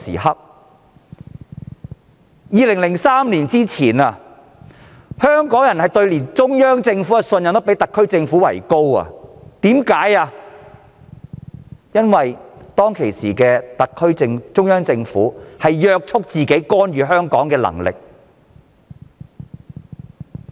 在2003年前，香港人對中央政府的信任度比特區政府高，因為當時中央政府約束自己干預香港的權力。